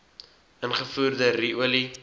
ingevoerde ru olie